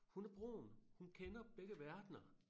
Hun er broen hun kender begge verdener